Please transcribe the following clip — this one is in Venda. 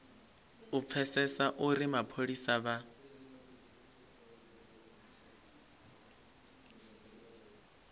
u pfesesa uri mapholisa vha